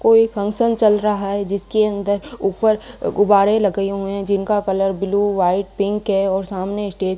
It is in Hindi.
कोई फंक्शन चल रहा है जिसके अंदर ऊपर गुब्बारे लगए हुए है जिनका कलर ब्लू व्हाइट पिंक है और सामने स्टेज --